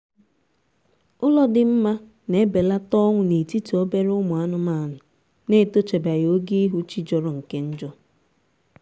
ụlọ dị mma na-ebelata ọnwụ na-etiti obere ụmụ anụmanụ na-etochabeghi oge ihu chi jọrọ nke njọ